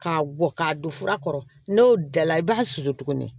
K'a bɔ k'a don fura kɔrɔ n'o dala i b'a susu tuguni